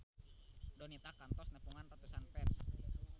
Donita kantos nepungan ratusan fans